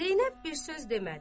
Zeynəb bir söz demədi.